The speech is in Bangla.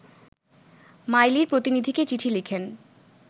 মাইলির প্রতিনিধিকে চিঠি লিখেন